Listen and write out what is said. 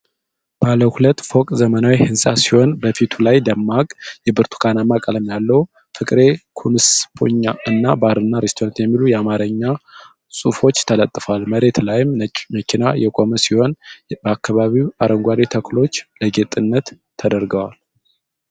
ባለ ሁለት ፎቅ ዘመናዊ ሕንፃ ሲሆን በፊቱ ላይ ደማቅ የብርቱካናማ ቀለም ያለው "ፍቅሬ ኩንስፖኛ" እና "ባርና ሬስቶራንት" የሚሉ የአማርኛ ጽሑፎች ተለጥፈዋል። መሬት ላይ ነጭ መኪና የቆመ ሲሆን በአካባቢው አረንጓዴ ተክሎች ለጌጥነት ተደርገዋል።